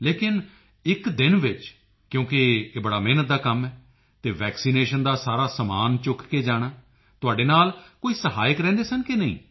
ਲੇਕਿਨ ਇੱਕ ਦਿਨ ਵਿੱਚ ਕਿਉਂਕਿ ਇਹ ਬੜਾ ਮਿਹਨਤ ਦਾ ਕੰਮ ਹੈ ਅਤੇ ਵੈਕਸੀਨੇਸ਼ਨ ਦਾ ਸਾਰਾ ਸਮਾਨ ਚੁੱਕ ਕੇ ਜਾਣਾ ਤੁਹਾਡੇ ਨਾਲ ਕੋਈ ਸਹਾਇਕ ਰਹਿੰਦੇ ਸਨ ਕਿ ਨਹੀਂ